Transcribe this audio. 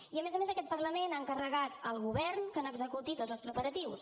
i a més a més aquest parlament ha encarregat al govern que n’executi tots els preparatius